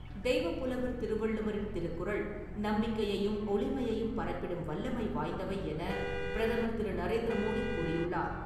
தெய்வப்புலவர் திருவள்ளுவரின் திருக்குறள் நம்பிக்கையையும், ஒளியையும் பரப்பிடும் வல்லமை வாய்ந்தவை என பிரதமர் திரு. நரேந்திர மோடி கூறியுள்ளார்.